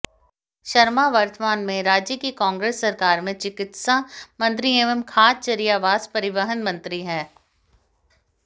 शर्मा वर्तमान में राज्य की कांग्रेस सरकार में चिकित्सा मंत्री एवं खाचरियावास परिवहन मंत्री हैं